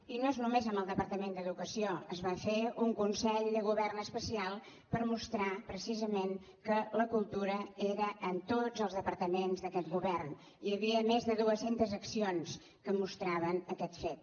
i no és només amb el departament d’educació es va fer un consell de govern especial per mostrar precisament que la cultura era en tots els departaments d’aquest govern hi havia més de dues centes accions que mostraven aquest fet